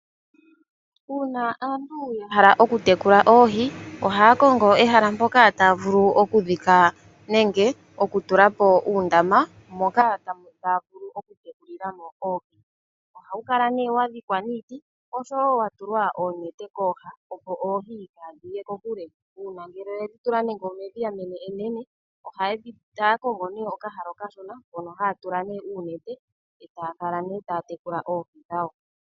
Uuna aantu ya hala oku tekula oohi, oha ya kongo ehala mpoka ta ya vulu oku dhika, nenge oku tulapo uundama, moka ta ya vulu oku tekulilamo oohi. Oha wu kala ne wa dhikwa niiti, osho wo watulwa oonete kooha opo oohi kaadhi ye kokule. Uuna ngele oye dhi tula nande omedhiya enene, oha ya kongo okahala okashona mono ha tula oonete eta ya kala ne ta ya tekula oohi dhawo.